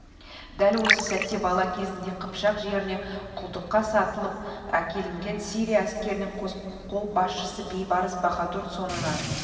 дәл осы сәтте бала кезінде қыпшақ жерінен құлдыққа сатылып әкелінген сирия әскерінің қолбасшысы бейбарыс баһадур соңынан